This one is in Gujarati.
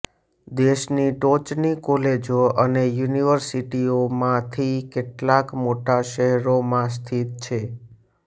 દેશની ટોચની કોલેજો અને યુનિવર્સિટીઓમાંથી કેટલાક મોટા શહેરોમાં સ્થિત છે